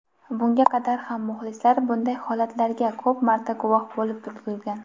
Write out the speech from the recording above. bunga qadar ham muxlislar bunday holatlarga ko‘p marta guvoh bo‘lib ulgurgan.